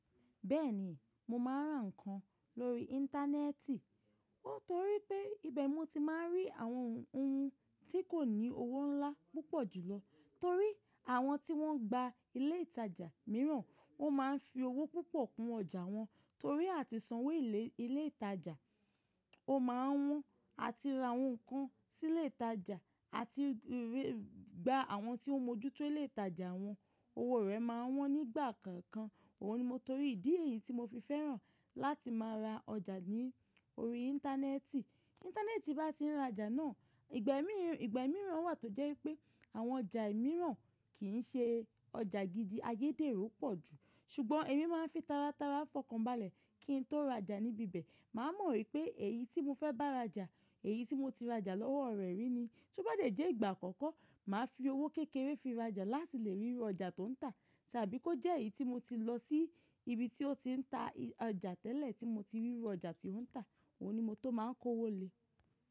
Bẹ́ẹ̀ni, mo máa ń ra ǹkan lórí Íńtánẹ́ẹ̀tì. Nítorí pé, ibẹ̀ mo ti máa ń rí àwọn ohun tí kò ní owó ńlá púpọ̀ jùlọ. Torí àwọn tí wọ́n gba ilé ìtajà mìíràn, wọ́n máa ń fi owó púpọ̀ kun ọjà wọn. Torí àti sanwó ilé ìtajà, o máa n wọ́n. Àti ra àwọn ǹkan sí ilé ìtajà, àti gba àwọn tí ó ń mójú tó ilé ìtajà wọn. Owó rẹ̀ máa wọ́n nígbà kọ̀ọ̀kan. Òhun ni mó torí ìdí èyí tí mo fi fẹ́ràn láti máa ra ọjà ní orí Íńtánẹ́ẹ̀tì. Íńtánẹ́ẹ̀tì bá ti ń ra ọjà náà, ìgbà mìíràn wà tó jẹ́ wípé àwọn ọjà mìíràn kì ń ṣe ọjà gidi, ayédèrú pọ̀ jú. Ṣùgbọ́n èmi máa ń fi tára tára fọkànbalẹ̀ kí n tó ra ọjà níbi bẹ̀. Máa mọ̀ wípé èyí tí mo fẹ́ bá ra ọjà, èyí tí mo ti ra ọjà lọ́wọ́ rẹ̀ rí ni. Tó bá de jẹ́ ìgbà àkọ́kọ́, màá fi owó kékeré fi ra ọjà láti lè ríru ọjà tó ń tà. Tàbí kó jẹ́ èyí tí mo ti lọ sí ibi tí ó ti ń ta ọjà tẹ́lẹ̀ tí mo ti ríru ọjà tí ó ń tà. Òhun ni mo tó máa ń kówò lè.